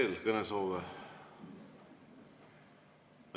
On veel kõnesoove?